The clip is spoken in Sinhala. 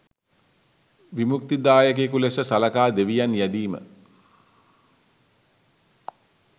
විමුක්තිදායකයකු ලෙස සලකා දෙවියන් යැදීම,